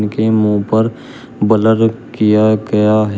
उनके मुंह पर ब्लर किया गया है।